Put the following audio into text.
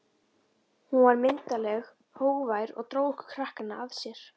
Hún var myndarleg, hógvær og dró okkur krakkana að sér.